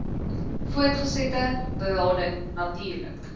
voortgesette berading natuurlik